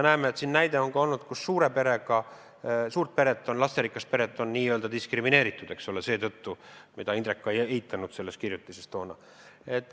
Nii et on ka näide olnud, kui lasterikast peret on seetõttu n-ö diskrimineeritud, mida Indrek ka ei eitanud selles kirjutises toona.